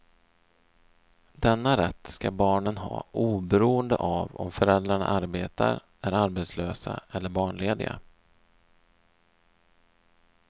Denna rätt ska barnen ha oberoende av om föräldrarna arbetar, är arbetslösa eller barnlediga.